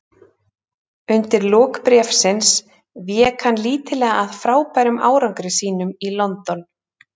Undir lok bréfsins vék hann lítillega að frábærum árangri sínum í London.